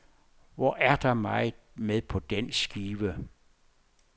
Hvor er der meget med på den skive.